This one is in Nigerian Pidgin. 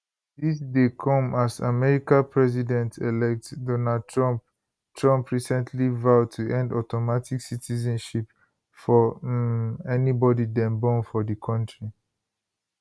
dis dey come as america presidentelect donald trump trump recently vow to end automatic citizenship for um anybody dem born for di country